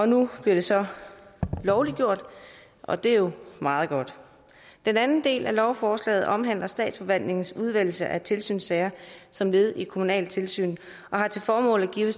nu bliver det så lovliggjort og det er jo meget godt den anden del af lovforslaget omhandler statsforvaltningens udvælgelse af tilsynssager som led i det kommunale tilsyn og har til formål at give